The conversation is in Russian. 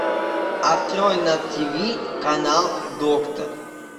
открой на тиви канал доктор